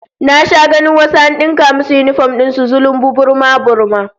Na sha ganin wasu an dinka musu yinifom din su zulumbu, burma-burma